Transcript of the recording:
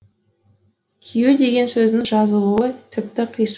кию деген сөздің жазылуы тіпті қисық